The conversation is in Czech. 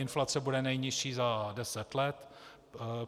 Inflace bude nejnižší za deset let.